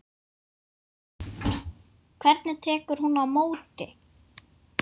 Hvernig hún tekur á móti